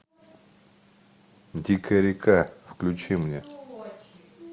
дикая река включи мне